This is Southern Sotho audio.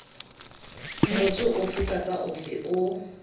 motho ofe kapa ofe o